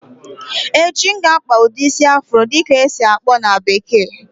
Echi, M ga akpa ụdị isi "Afro"dị ka ọ esi-akpọ na bekee